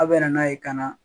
A bɛ na n'a ye ka na